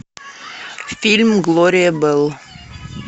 фильм глория белл